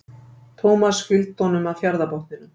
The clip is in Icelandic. Thomas fylgdi honum að fjarðarbotninum.